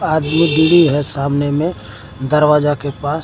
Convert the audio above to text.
आदमी भी है सामने में दरवाजा के पास।